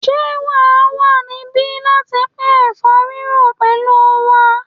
Ṣé wà á wà níbí láti pín ẹ̀fọ́ rírò pẹ̀lú wa?